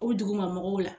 O duguma mɔgɔw la